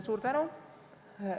Suur tänu!